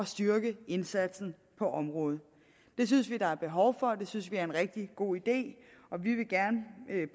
styrke indsatsen på området det synes vi der er behov for og det synes vi er en rigtig god idé